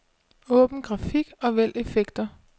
Åbn grafik og vælg effekter.